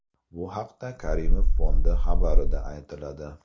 Bu haqda Karimov Fondi xabarida aytiladi .